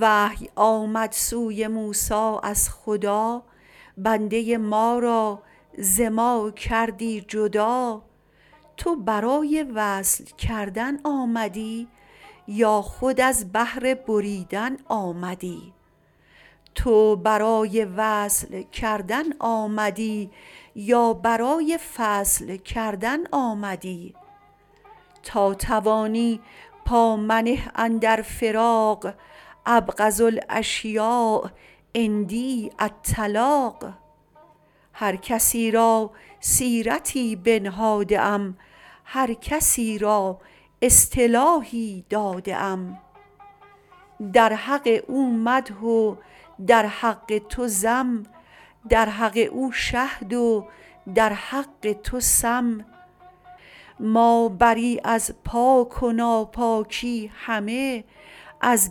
وحی آمد سوی موسی از خدا بنده ما را ز ما کردی جدا تو برای وصل کردن آمدی یا برای فصل کردن آمدی تا توانی پا منه اندر فراق ابغض الاشیاء عندی الطلاق هر کسی را سیرتی بنهاده ام هر کسی را اصطلاحی داده ام در حق او مدح و در حق تو ذم در حق او شهد و در حق تو سم ما بری از پاک و ناپاکی همه از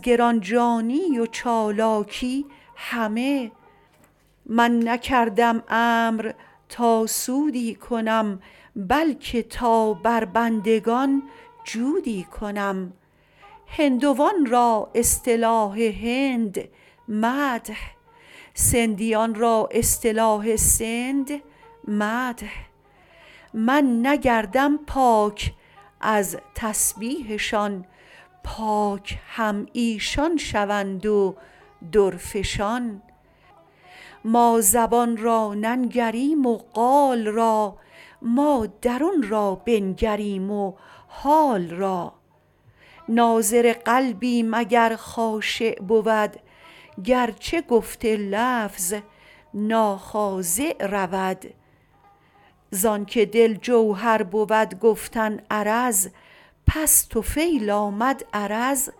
گرانجانی و چالاکی همه من نکردم امر تا سودی کنم بلک تا بر بندگان جودی کنم هندوان را اصطلاح هند مدح سندیان را اصطلاح سند مدح من نگردم پاک از تسبیحشان پاک هم ایشان شوند و درفشان ما زبان را ننگریم و قال را ما روان را بنگریم و حال را ناظر قلبیم اگر خاشع بود گرچه گفت لفظ ناخاضع رود زانک دل جوهر بود گفتن عرض پس طفیل آمد عرض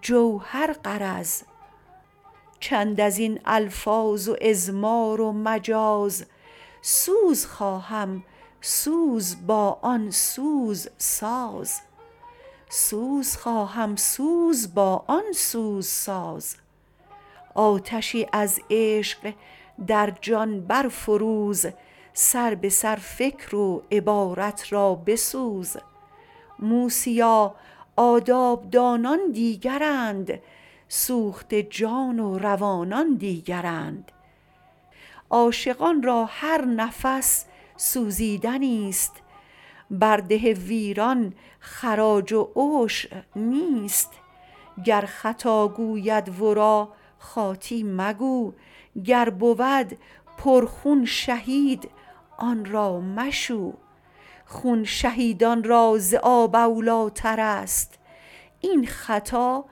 جوهر غرض چند ازین الفاظ و اضمار و مجاز سوز خواهم سوز با آن سوز ساز آتشی از عشق در جان بر فروز سر بسر فکر و عبارت را بسوز موسیا آداب دانان دیگرند سوخته جان و روانان دیگرند عاشقان را هر نفس سوزیدنیست بر ده ویران خراج و عشر نیست گر خطا گوید ورا خاطی مگو گر بود پر خون شهید او را مشو خون شهیدان را ز آب اولیٰ ترست این خطا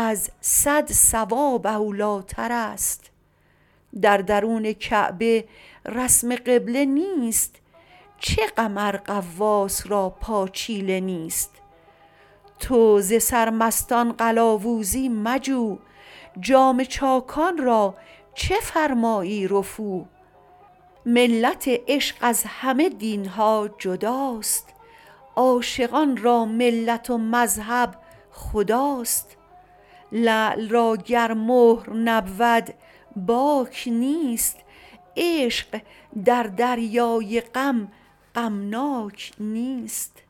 از صد صواب اولیٰ ترست در درون کعبه رسم قبله نیست چه غم ار غواص را پاچیله نیست تو ز سرمستان قلاوزی مجو جامه چاکان را چه فرمایی رفو ملت عشق از همه دینها جداست عاشقان را ملت و مذهب خداست لعل را گر مهر نبود باک نیست عشق در دریای غم غمناک نیست